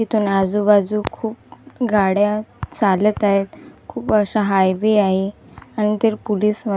इथून आजूबाजू खूप गाड्या चालत आहेत खूप अशा हायवे आहे --